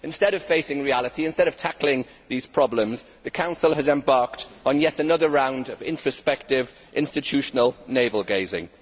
Instead of facing reality, instead of tackling these problems, the Council has embarked on yet another round of introspective, institutional navel gazing.